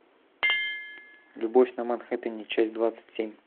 любовь на манхэттене часть двадцать семь